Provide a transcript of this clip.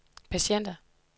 patienter